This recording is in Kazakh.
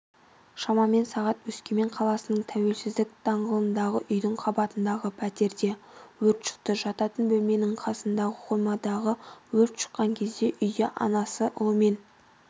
шамамен сағат өскемен қаласының тәуелсіздік даңғылындағы үйдің қабатындағы пәтерде өрт шықты жатын бөлменің қасындағы қоймадан өрт шыққан кезде үйде анасы ұлымен